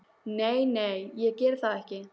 Nei, nei, ég geri það ekki.